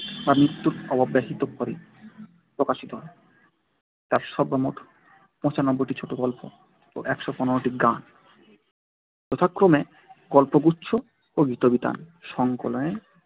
বা মৃত্যুর অব্যবহিত পরে প্রকাশিত হয়। তার সর্বমোট পঁচানব্বই টি ছোটগল্প ও একশো পনেরো টি গান যথাক্রমে গল্পগুচ্ছ ও গীতবিতান সংকলনের